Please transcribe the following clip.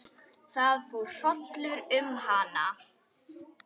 Það fór hrollur um hana.